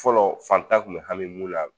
Fɔlɔ fantan kun me hami mun la